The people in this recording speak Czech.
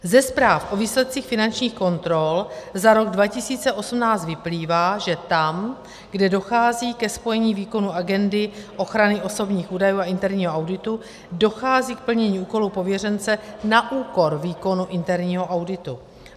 Ze zpráv o výsledcích finančních kontrol za rok 2018 vyplývá, že tam, kde dochází ke spojení výkonu agendy ochrany osobních údajů a interního auditu, dochází k plnění úkolů pověřence na úkor výkonu interního auditu.